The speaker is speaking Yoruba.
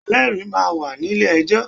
Ẹlẹ́rìí ma ń wà nílé ejọ́.